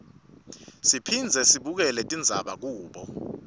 siphindze sibukele tindzaba kubo